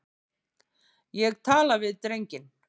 Ég tala við drenginn.